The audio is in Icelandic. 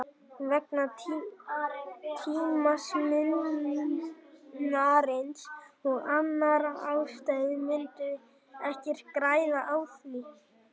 Vegna tímamismunarins og annarra ástæðna myndum við ekkert græða á því.